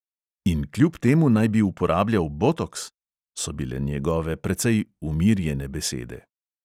"In kljub temu naj bi uporabljal botoks?" so bile njegove precej umirjene besede.